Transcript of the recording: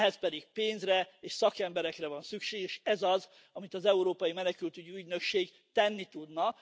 Ehhez pedig pénzre és szakemberekre van szükség, és ez az, amit az európai menekültügyi ügynökség tenni tudna.